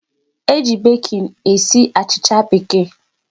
E ji baking esi achịcha bekee